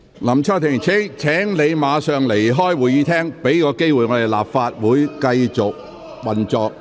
林卓廷議員，請你立即離開會議廳，給立法會一個機會繼續運作。